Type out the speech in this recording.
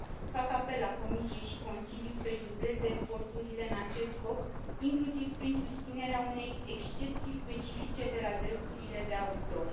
Fac apel la Comisie și Consiliu să și dubleze eforturile în acest scop, inclusiv prin susținerea unei excepții specifice de la drepturile de autor.